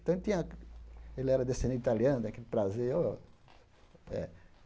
Então ele tinha ele era descendente italiano, aquele prazer. oh eh